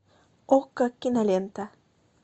окко кинолента